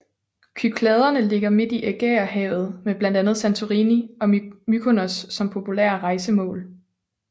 Kykladerne ligger midt i Ægæerhavet med blandt andre Santorini og Mykonos som populære rejsemål